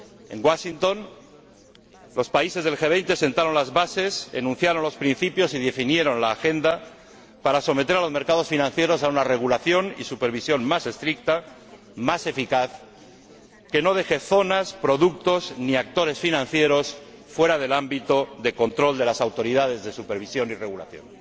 En Washington, los países del G 20 sentaron las bases, enunciaron los principios y definieron la agenda para someter a los mercados financieros a una regulación y supervisión más estricta, más eficaz, que no deje zonas, productos, ni actores financieros fuera del ámbito de control de las autoridades de supervisión y regulación,